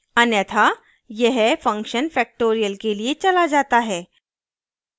अन्यथा यह function factorial के लिए चला जाता है